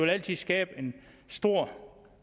altid skabe en stor